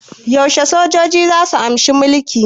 Yaushe sojoji zasu amshi mulki?